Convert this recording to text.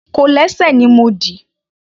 Kòlẹ́sẹ̀ ni mo dì.